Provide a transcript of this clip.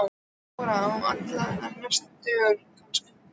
Þóra: Á allra næstu dögum kannski?